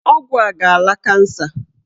Ọgwụ a ga-ala kansa.